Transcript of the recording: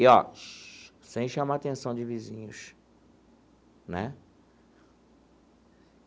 E, ó, sem chamar atenção de vizinhos né.